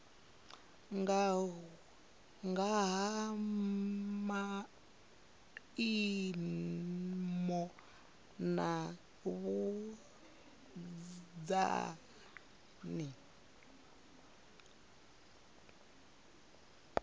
nga ha maimo na vhunzani